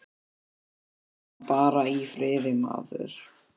Láttu hana bara í friði, maður.